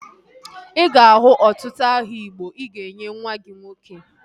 Ị ga-ahụ ọtụtụ aha igbo ị ga-enye nwa gị nwoke